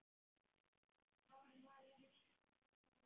Það var Vala vinkona Lillu.